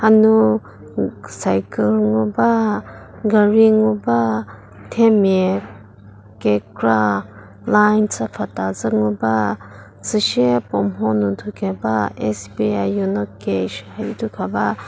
hanu cycle ngu ba gari ngu ba themia kekra line chüpfüthacü ngu ba süshie puo mho nu thu keba sbi yono cash idi thu khaba.